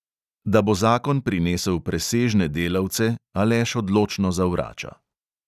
Da bo zakon prinesel presežne delavce, aleš odločno zavrača.